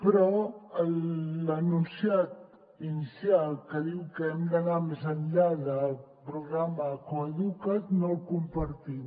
però l’enunciat inicial que diu que hem d’anar més enllà del programa coeduca’t no el compartim